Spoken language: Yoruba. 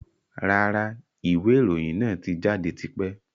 Rárá, ìwé ìròyìn náà tí jáde tipẹ́.